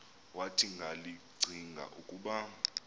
wathi ngakllcinga ukub